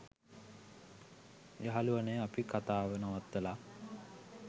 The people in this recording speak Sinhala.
යහළුවනේ අපි කතාව නවත්තලා